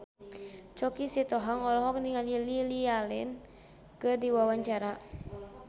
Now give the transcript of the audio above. Choky Sitohang olohok ningali Lily Allen keur diwawancara